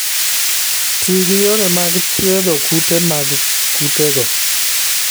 Ti gi yore mag thiedho kute mag kutego.